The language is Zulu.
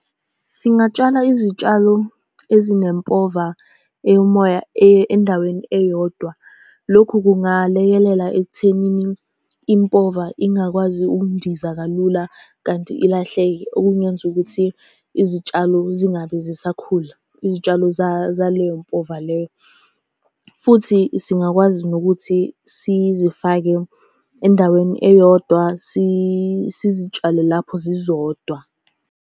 Singatshala izitshalo ezinempova eyomoya endaweni eyodwa. Lokhu kungalekelela ekuthenini impova ingakwazi ukundiza kalula kanti ilahleke, okungenza ukuthi izitshalo zingabe zisakhula. Izitshalo zaleyo mpova leyo, futhi singakwazi nokuthi sizifake endaweni eyodwa sizitshale lapho zizodwa.